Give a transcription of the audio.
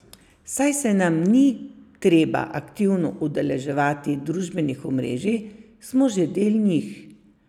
Saj se nam ni treba aktivno udeleževati družbenih omrežij, smo že del njih.